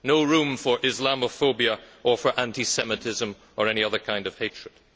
no room for Islamophobia or for anti Semitism or any other kind of hatred.